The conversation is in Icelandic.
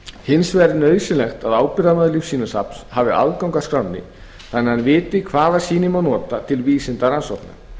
hins vegar er nauðsynlegt að ábyrgðarmaður lífsýnasafns hafi aðgang að skránni þannig að hann viti hvaða sýni má nota til vísindarannsókna